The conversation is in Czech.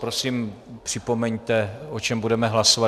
Prosím, připomeňte, o čem budeme hlasovat.